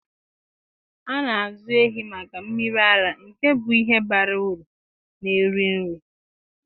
A na-azụ ehi maka mmiri ara, nke bụ ihe bara uru na-eri nri.